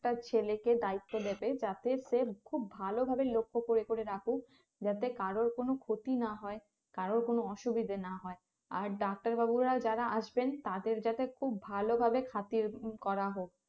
তার ছেলেকে দায়িত্ব দেবে যাতে সে খুব ভালো ভাবে লক্ষ করে করে রাখুক যাতে কারোর কোনো ক্ষতি না হয় কারোর কোনো অসুবিধা না হয় আর ডাক্তার বাবুরা যারা আসবেন তাদের যাতে খুব ভালো ভাবে খাতির করা হোক